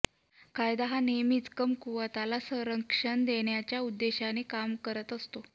कायदा हा नेहमीच कमकुवताला संरक्षण देण्याच्या उद्देशाने काम करत असतो